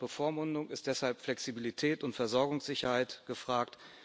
Anstatt Bevormundung sind deshalb Flexibilität und Versorgungssicherheit gefragt.